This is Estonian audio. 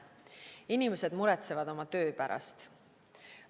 Inimesed muretsevad oma töö pärast.